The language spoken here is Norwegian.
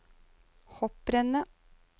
hopprennet